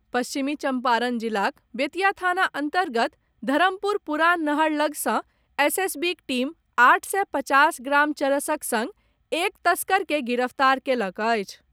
पश्चिमी चंपारण जिलाक बेतिया थाना अंतर्गत धरमपुर पुरान नहर लऽग सॅ एसएसबीक टीम आठ सय पचास ग्राम चरसक संग एक तस्कर के गिरफ्तार कएलक अछि।